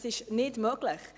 Das ist nicht möglich.